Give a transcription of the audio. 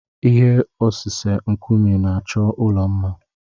Ihe osise nkume na-achọ ụlọ mma.